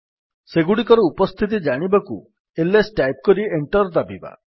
ସେଗୁଡିକର ଉପସ୍ଥିତି ଜାଣିବାକୁ ଆଇଏସ ଟାଇପ୍ କରି ଏଣ୍ଟର୍ ଦାବିବା